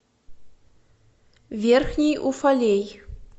верхний уфалей